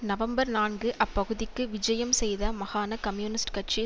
November நான்கு அப்பகுதிக்கு விஜயம் செய்த மகாண கம்யூனிஸ்ட் கட்சி